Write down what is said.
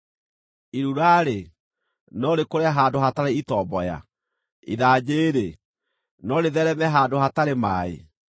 Irura-rĩ, no rĩkũre handũ hatarĩ itomboya? Ithanjĩ-rĩ, no rĩtheereme handũ hatarĩ maaĩ?